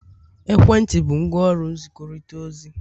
ekwentị bụ ngwaọrụ nzikọrịta ozi